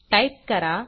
type करा